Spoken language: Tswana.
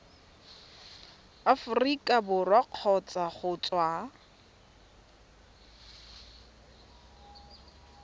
aforika borwa kgotsa go tswa